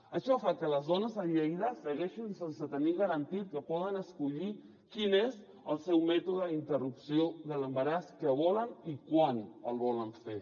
això fa que les dones a lleida segueixin sense tenir garantit que poden escollir quin és el seu mètode d’interrupció de l’embaràs que volen i quan el volen fer